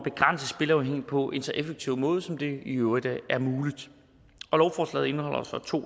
spilafhængighed på en så effektiv måde som det i øvrigt er muligt lovforslaget indeholder så to